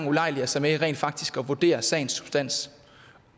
ulejlige sig med rent faktisk at vurdere sagens substans